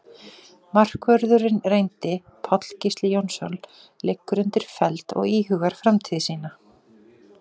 Markvörðurinn reyndi Páll Gísli Jónsson liggur undir feld og íhugar framtíð sína.